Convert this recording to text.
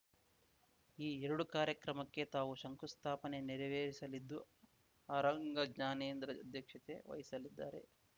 ಈ ಎರಡು ಕಾರ್ಯಕ್ರಮಕ್ಕೆ ತಾವು ಶಂಕುಸ್ಥಾಪನೆ ನೆರವೇರಿಸಲಿದ್ದು ಅರಂಗ ಜ್ಞಾನೇಂದ್ರ ಅಧ್ಯಕ್ಷತೆ ವಹಿಸಲಿದ್ದಾರೆ